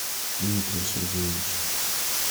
дмитрия сергеевича